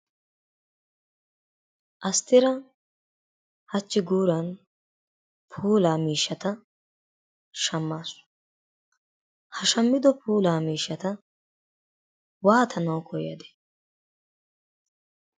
Asttira hachchi guuran puulaa miishshata shammaasu. Ha shammido puulaa miishshata waatanawu koyadee?